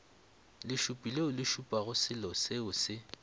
lešupi leole šupago seloseo se